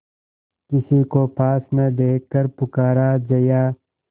किसी को पास न देखकर पुकारा जया